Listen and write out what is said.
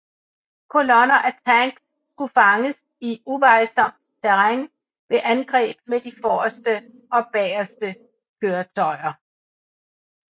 Kolonner af tanks skulle fanges i uvejsomt terræn ved angreb med de forreste og bageste køretøjer